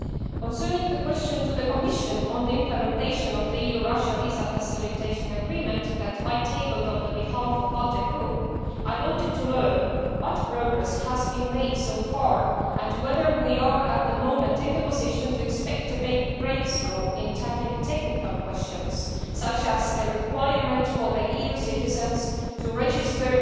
Concerning the question to the Commission on the implementation of the EU Russia visa facilitation agreement that I tabled on behalf of the ALDE Group, I wanted to learn what progress has been made so far and whether we are, at the moment, in a position to expect a breakthrough in tackling technical questions such as the requirement for EU citizens to register